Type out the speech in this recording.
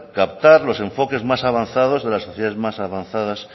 captar los enfoques más avanzados de las sociedades más avanzadas